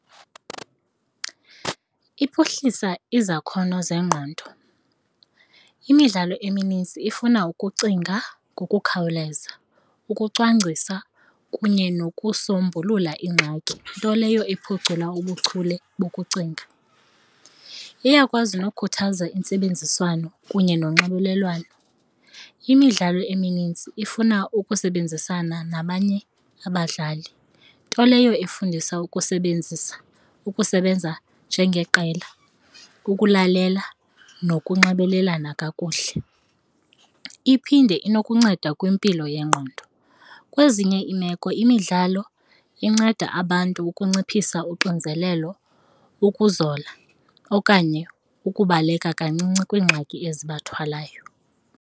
Iphuhlisa izakhono zengqondo. Imidlalo emininzi ifuna ukucinga ngokukhawuleza, ukucwangcisa kunye nokusombulula iingxaki, nto leyo iphucula ubuchule bokucinga. Iyakwazi nokhuthaza intsebenziswano kunye nonxibelelwano. Imidlalo emininzi ifuna ukusebenzisana nabanye abadlali, nto leyo efundisa ukusebenzisa ukusebenza njengeqela, ukulalela nokunxibelelana kakuhle, iphinde inokunceda kwimpilo yengqondo. Kwezinye iimeko imidlalo inceda abantu ukunciphisa unxinzelelo, ukuzola okanye ukubaleka kancinci kwiingxaki ezibathwalayo.